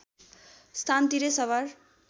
स्थान तिरै सवार